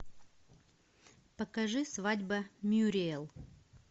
покажи свадьба мюриэл